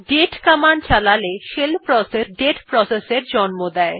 দাতে command চালালে shell process একটি date process এর জন্ম দেয়